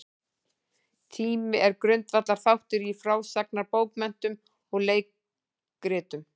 Tími er grundvallarþáttur í frásagnarbókmenntum og leikritum.